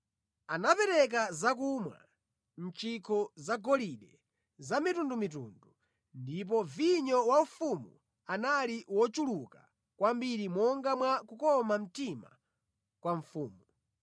Anapereka zakumwa mʼchikho zagolide zamitundumitundu, ndipo vinyo waufumu anali wochuluka kwambiri monga mwa kukoma mtima kwa mfumu.